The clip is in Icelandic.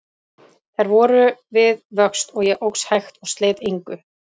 Þær voru við vöxt, og ég óx hægt og sleit engu.